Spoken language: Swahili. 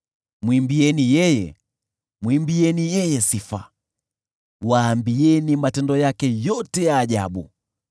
Mwimbieni yeye, mwimbieni yeye sifa, waambieni matendo yake yote ya ajabu.